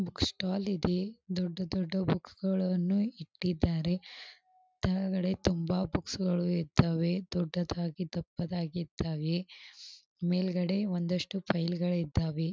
Books stall ಇದೆ ದೊಡ್ಡ ದೊಡ್ಡ ಬುಕ್ಸ್ ಗಳನ್ನೂ ಇಟ್ಟಿದ್ದಾರೆ. ಕೆಳಗಡೆ ತುಂಬಾ ಬುಕ್ಸ್ ಗಳೂ ಇದ್ದವೆ ದೊಡ್ಡದಾಗಿ ದಪ್ಪದಾಗಿ ಇದ್ದಾವೆ ಮೇಲ್ಗಡೆ ಒಂದಿಷ್ಟು ಫೈಲುಗಳು ಇದ್ದಾವೆ.